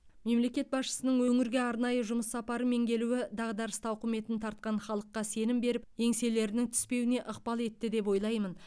мемлекет басшысының өңірге арнайы жұмыс сапарымен келуі дағдарыс тауқыметін тартқан халыққа сенім беріп еңселерінің түспеуіне ықпал етті деп ойлаймын